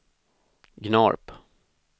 Gnarp